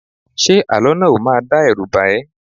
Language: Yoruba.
Ṣé àlọ́ náà ò máa dá ẹrú bà ẹ́?